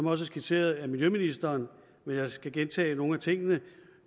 er skitseret af miljøministeren men jeg skal gentage nogle af tingene